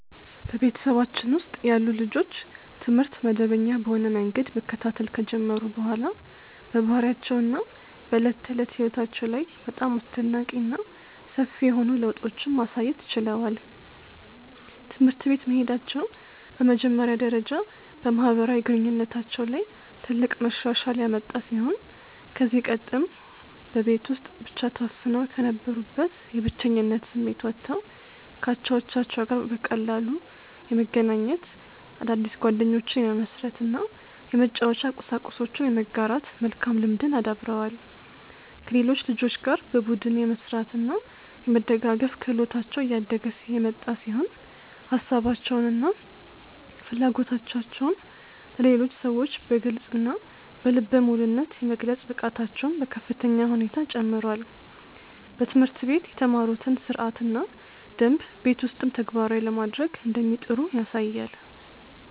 በቤተሰባችን ውስጥ ያሉ ልጆች ትምህርት መደበኛ በሆነ መንገድ መከታተል ከጀመሩ በኋላ በባህሪያቸው እና በዕለት ተዕለት ሕይወታቸው ላይ በጣም አስደናቂ እና ሰፊ የሆኑ ለውጦችን ማሳየት ችለዋል። ትምህርት ቤት መሄዳቸው በመጀመሪያ ደረጃ በማህበራዊ ግንኙነታቸው ላይ ትልቅ መሻሻል ያመጣ ሲሆን ከዚህ ቀደም በቤት ውስጥ ብቻ ተወስነው ከነበሩበት የብቸኝነት ስሜት ወጥተው ከአቻዎቻቸው ጋር በቀላሉ የመገናኘት፣ አዳዲስ ጓደኞችን የመመስረት እና የመጫወቻ ቁሳቁሶችን የመጋራት መልካም ልምድን አዳብረዋል። ከሌሎች ልጆች ጋር በቡድን የመስራት እና የመደጋገፍ ክህሎታቸው እያደገ የመጣ ሲሆን ሀሳባቸውን እና ፍላጎቶቻቸውን ለሌሎች ሰዎች በግልፅ እና በልበ ሙሉነት የመግለጽ ብቃታቸውም በከፍተኛ ሁኔታ ጨምሯል። በትምህርት ቤት የተማሩትን ሥርዓትና ደንብ ቤት ውስጥም ተግባራዊ ለማድረግ እንደሚጥሩ ያሳያል።